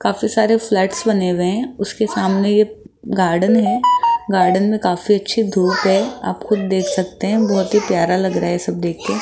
काफी सारे फ्लैट्स बने हुए हैं उसके सामने एक गार्डन है गार्डन में काफी अच्छी धूप है आप खुद देख सकते हैं बहुत ही प्यारा लग रहा है सब देख के।